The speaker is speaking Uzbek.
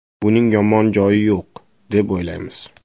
Buning yomon joyi yo‘q, deb o‘ylaymiz.